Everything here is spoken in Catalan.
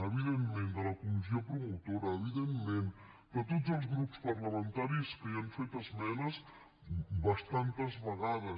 evidentment de la comissió promotora evidentment de tots els grups parlamentaris que hi han fet esmenes bastantes vegades